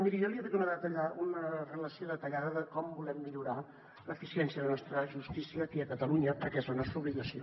miri jo li he fet una relació detallada de com volem millorar l’eficiència de la nostra justícia aquí a catalunya perquè és la nostra obligació